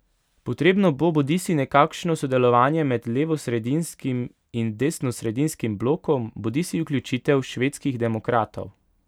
Potrebno bo bodisi nekakšno sodelovanje med levosredinskim in desnosredinskim blokom bodisi vključitev Švedskih demokratov.